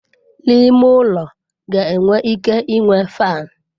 N'ime ulo ga enwe ike inwe faanụ.